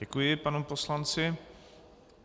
Děkuji panu poslanci.